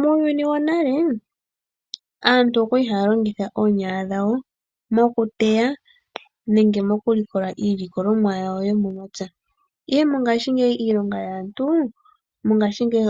Muuyuni wonale aantu okwali haya longitha oonyala dhawo . Okuteya nenge okulikola iilikolomwa yawo yomomapya. Mongaashingeyi iilonga yaantu